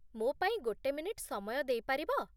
ମୋ ପାଇଁ ଗୋଟେ ମିନିଟ୍ ସମୟ ଦେଇପାରିବ ?